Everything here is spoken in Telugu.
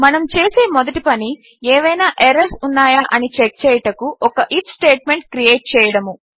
మనము చేసే మొదటి పని ఏవైనా ఎర్రర్స్ ఉన్నాయా అని చెక్ చేయుటకు ఒక ఐఎఫ్ స్టేట్మెంట్ క్రియేట్ చేయడము